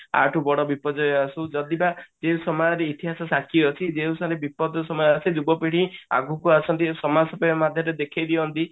ଆ ଠୁ ବଡ ବିପର୍ଯ୍ୟୟ ଆସୁ ଯଦି ବା ଏଇ ସମୟରେ ଇତିହାସ ସାକ୍ଷୀ ଅଛି କି ଯେଉଁ ସମୟରେ ବିପର୍ଯ୍ୟୟ ସମୟ ଆସ ଯୁବପିଢୀ ଆଗକୁ ଆସନ୍ତି ଏଇ ସମାଜ ସେବା ମାଧ୍ୟମରେ ଦେଖେଇ ଦିଅନ୍ତି